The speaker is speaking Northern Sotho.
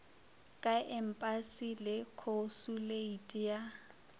ka empasi le khosuleiti ya